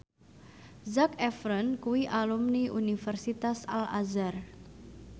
Zac Efron kuwi alumni Universitas Al Azhar